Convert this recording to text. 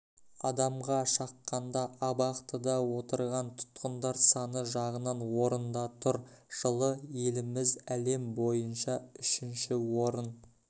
адамға шаққанда абақтыда отырған тұтқындар саны жағынан орында тұр жылы еліміз әлем бойынша үшінші орын